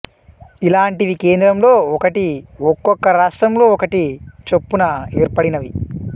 ఇలాంటివి కేంద్రంలో ఒకటి ఒక్కొక్క రాష్ట్రంలో ఒకటి చొప్పున ఏర్పడినవి